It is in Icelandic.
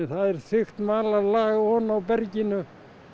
það er þykkt malarlag ofan á berginu